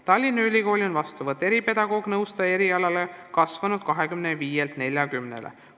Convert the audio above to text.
Tallinna Ülikoolis on vastuvõtt eripedagoog-nõustaja erialale kasvanud 25-lt 40-le.